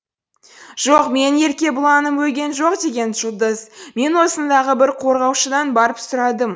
жоқ менің еркебұланым өлген жоқ деген жұлдыз мен осындағы бір қорғаушыдан барып сұрадым